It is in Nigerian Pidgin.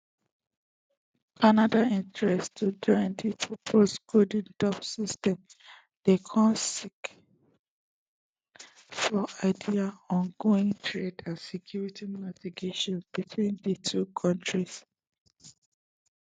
canada interest to join di proposed golden dome system dey come sake of dia ongoing trade and security negotiations between di two kontris